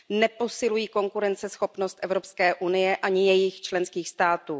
Neposilují konkurenceschopnost Evropské unie ani jejích členských států.